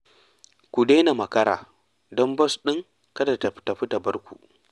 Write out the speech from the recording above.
Ku daina makara, don bas ɗin kada ta tafi ta bar ku